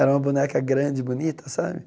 Era uma boneca grande, bonita, sabe?